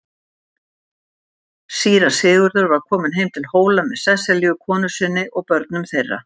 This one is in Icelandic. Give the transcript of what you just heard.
Síra Sigurður var kominn heim til Hóla með Sesselju konu sinni og börnum þeirra.